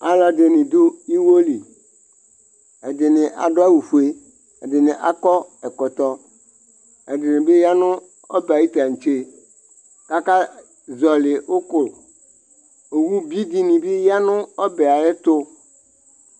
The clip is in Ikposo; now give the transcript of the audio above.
Alɔ dɩnɩ dʋ iwo li: ɛdɩnɩ adʋ awʋ fue, ɛdɩnɩ akɔ ɛkɔtɔ, ɛdɩnɩ bɩ ya nʋ ɔbɛ tatse kaka zɔlɩ ʋkʋOwu bi dɩnɩ bɩ ya nʋ ɔbɛ ayɛtʋ